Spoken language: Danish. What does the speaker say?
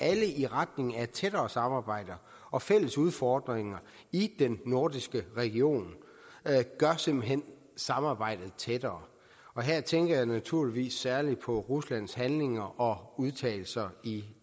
alle i retning af et tættere samarbejde og fælles udfordringer i den nordiske region gør simpelt hen samarbejdet tættere og her tænker jeg naturligvis særlig på ruslands handlinger og udtalelser i